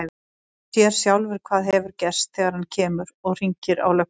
Hann sér sjálfur hvað hefur gerst þegar hann kemur. og hringir á lögguna.